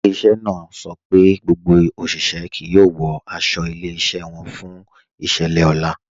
Ilẹ̀-iṣẹ́ náà sọ pé gbogbo oṣiṣẹ̀ yẹ kí o wọ̀ àṣọ ilẹ̀-iṣẹ́ wọn fún iṣẹ̀lẹ̀ ọlá.